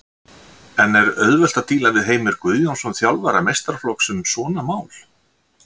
En er auðvelt að díla við Heimir Guðjónsson þjálfara meistaraflokks um svona mál?